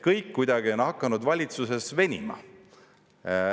Kõik kuidagi on hakanud valitsuses venima.